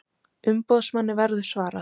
Umboðsmanni verður svarað